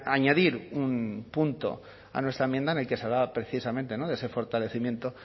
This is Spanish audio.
añadir un punto a nuestra enmienda en el que se habla precisamente de ese fortalecimiento